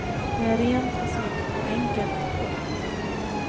Det är rent och snyggt och enkelt. punkt